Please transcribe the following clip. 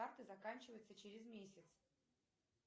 карты заканчивается через месяц